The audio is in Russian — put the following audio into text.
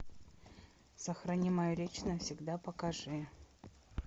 сохрани мою речь навсегда покажи